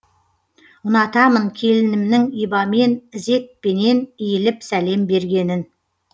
ұнатамын келінімнің ибамен ізетпенен иіліп сәлем бергенін